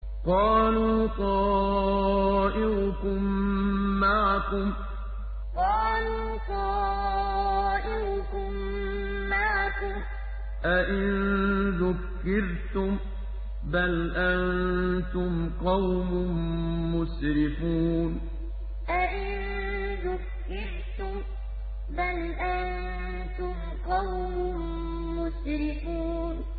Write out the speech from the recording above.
قَالُوا طَائِرُكُم مَّعَكُمْ ۚ أَئِن ذُكِّرْتُم ۚ بَلْ أَنتُمْ قَوْمٌ مُّسْرِفُونَ قَالُوا طَائِرُكُم مَّعَكُمْ ۚ أَئِن ذُكِّرْتُم ۚ بَلْ أَنتُمْ قَوْمٌ مُّسْرِفُونَ